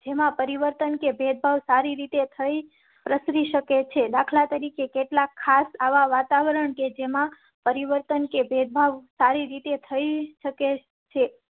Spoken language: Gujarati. જેમાં પરિવર્તન કે ભેદભાવ સારી રીતે પ્રસરી શકે છે. દાખલા તરીકે કેટલાક ખાસ આવા વાતાવરણ કે જેમાં પરિવર્તન કે ભેદભાવ સારી રીતે થઈ શકે છે